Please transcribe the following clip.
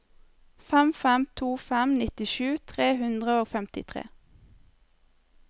fem fem to fem nittisju tre hundre og femtifire